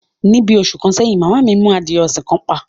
Ní bí òṣù kan sèyìn, màmá mi mú àdíyè òṣìn kan pà